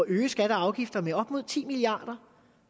øge skatter og afgifter med op mod ti milliard kroner